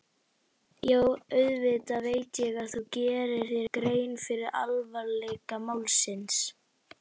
Jú, auðvitað veit ég að þú gerir þér grein fyrir alvarleika málsins.